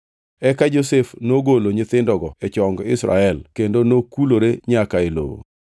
Eka Josef nogolo nyithindogo e chong Israel kendo nokulore nyaka e lowo.